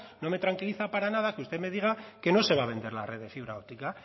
no me tranquiliza para nada que usted me diga que no se va a vender la red de fibra óptica